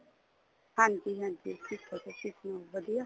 ਹਾਂਜੀ ਹਾਂਜੀ ਠੀਕ ਠਾਕ ਤੁਸੀਂ ਸੁਣਾਉ ਵਧੀਆ